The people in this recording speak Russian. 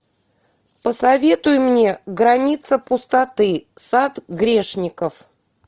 посоветуй мне граница пустоты сад грешников